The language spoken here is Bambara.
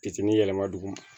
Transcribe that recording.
Kisɛ ni yɛlɛma duguma